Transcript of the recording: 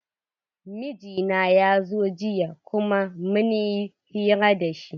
Mijina ya zo jiya kuma mun yi hira da shi.